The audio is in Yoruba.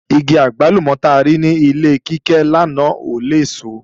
Igi àgbálùmọ̀ ta rí ní ilé Kíkẹ́ lánàá ò léso